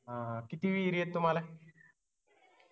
हा हा किती विहिरी आहेत तुम्हाला